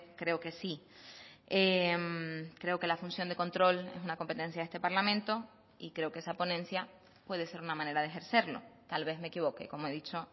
creo que sí creo que la función de control es una competencia de este parlamento y creo que esa ponencia puede ser una manera de ejercerlo tal vez me equivoque como he dicho